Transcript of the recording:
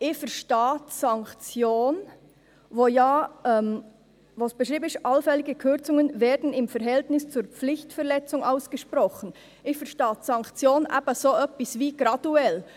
Ich verstehe die Sanktion, die beschrieben ist mit «Allfällige Kürzungen werden im Verhältnis zur Pflichtverletzung ausgesprochen [...]», in etwa wie graduell.